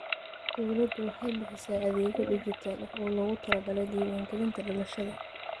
Dawladdu waxay bixisaa adeegyo dhijitaal ah oo loogu talagalay diiwaangelinta dhalashada.